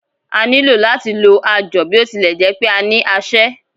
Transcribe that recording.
A ní lò láti lo ajọ̀, bí ó tilẹ̀ jẹ́ pé a ní aṣẹ́.